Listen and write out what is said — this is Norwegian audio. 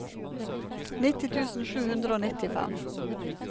nitti tusen sju hundre og nittifem